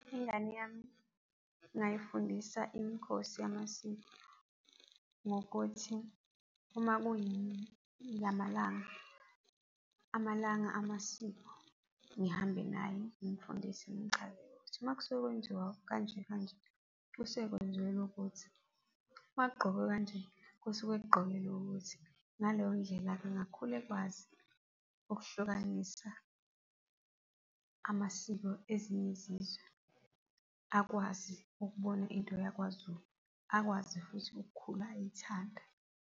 Ingane yami ngingayifundisa imikhosi yamasiko ngokuthi uma kuyilamalanga, amalanga amasiko, ngihambe naye ngimfundise ngimchazele ukuthi uma kusuke kwenziwa, kanje, kanje kusuke kwenzelwa ukuthi. Uma kugqokwe kanj,e kusuke kugqokelwe ukuthi. Ngaleyo ndlela-ke angakhula ekwazi ukuhlukanisa amasiko ezinye izizwe, akwazi ukubona into yakwaZulu akwazi futhi ukukhula eyithanda.